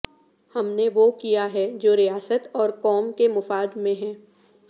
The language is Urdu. ہم نے وہ کیاہے جو ریاست او ر قوم کے مفاد میں ہے